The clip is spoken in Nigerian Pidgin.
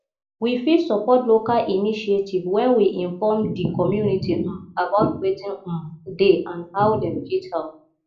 we fit support local initiative when we inform di community um about wetin um dey and how dem fit help